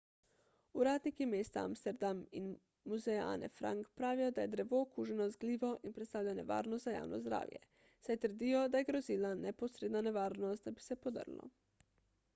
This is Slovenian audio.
uradniki mesta amsterdam in muzeja ane frank pravijo da je drevo okuženo z glivo in predstavlja nevarnost za javno zdravje saj trdijo da je grozila neposredna nevarnost da bi se podrlo